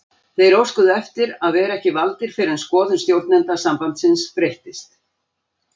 Þeir óskuðu eftir að vera ekki valdir fyrr en skoðun stjórnenda sambandsins breyttist.